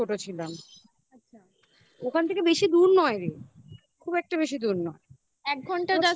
ছোট ছিলাম আচ্ছা ওখান থেকে বেশি দূর নয় রে, খুব একটা বেশি দূর নয়.